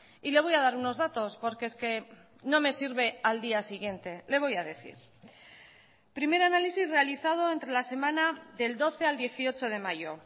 y le voy a dar unos datos porque es que no me sirve al día siguiente le voy a decir primer análisis realizado entre la semana del doce al dieciocho de mayo